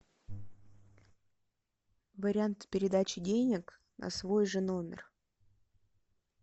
вариант передачи денег на свой же номер